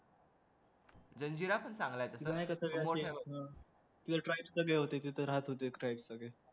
जंजिरा पण चांगला हे तसा अं